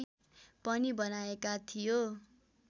पनि बनाएका थियो